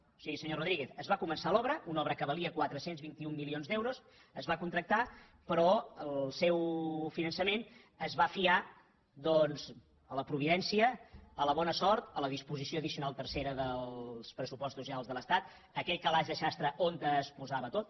o sigui senyor rodríguez es va començar l’obra una obra que valia quatre cents i vint un milions d’euros es va contractar però el seu finançament es va fiar doncs a la providència a la bona sort a la disposició addicional tercera dels pressupostos generals de l’estat aquell calaix de sastre on es posava tot